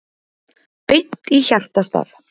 Beint í hjartastað